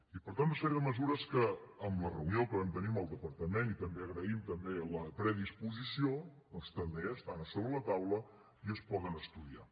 i per tant una sèrie de mesures que amb la reunió que vam tenir amb el departament i també agraïm també la predisposició doncs també estan a sobre la taula i es poden estudiar